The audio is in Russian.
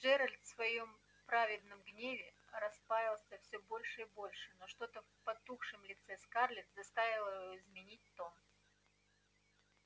джералд в своём праведном гневе распаялся всё больше и больше но что-то в потухшем лице скарлетт заставило его изменить тон